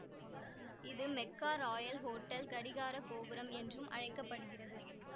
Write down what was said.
இது Mecca royal hotel கடிகார கோபுரம் என்றும் அழைக்க படுகிறது